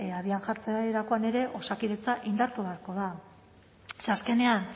abian jartzerakoan ere osakidetza indartuta beharko da ze azkenean